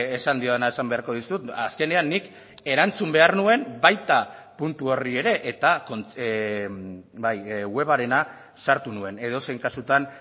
esan diona esan beharko dizut azkenean nik erantzun behar nuen baita puntu horri ere eta bai webarena sartu nuen edozein kasutan